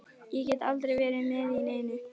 Ég get aldrei verið með í neinu.